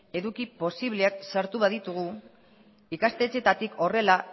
eduki posibleak sartu baditugu ikastetxeetatik horrela